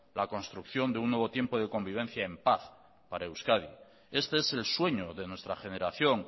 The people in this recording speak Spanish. la construcción de un nuevo tiempo de convivencia en paz para euskadi este es el sueño de nuestra generación